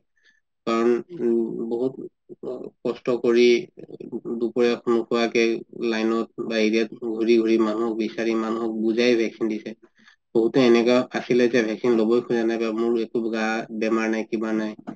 কাৰণ উম বহুত অ কষ্ট কৰি দুপৰীয়া নোখোৱা কে line বা area ত ঘুৰি ঘুৰি মানুহক বিচাৰি মানুহক বুজাই vaccine দিছে বহুতো এনেকুৱা আচিলে যে vaccine লবৈ খুজা নাই বা মোৰ একো গা বেমাৰ নাই কিবা নাই